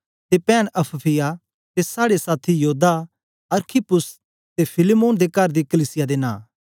ते पैंन अफफिया ते साड़े साथी योद्दा अरखिप्पुस ते फिलेमोन दे कर दी कलीसिया दे नां